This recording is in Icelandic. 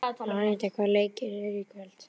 Aníta, hvaða leikir eru í kvöld?